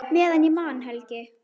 Meðan ég man, Helgi.